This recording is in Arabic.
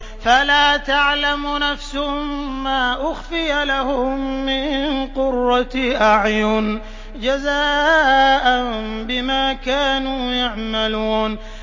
فَلَا تَعْلَمُ نَفْسٌ مَّا أُخْفِيَ لَهُم مِّن قُرَّةِ أَعْيُنٍ جَزَاءً بِمَا كَانُوا يَعْمَلُونَ